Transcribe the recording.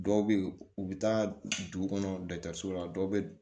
Dɔw bɛ yen u bɛ taa dugu kɔnɔ dɔtɛriso la dɔ bɛ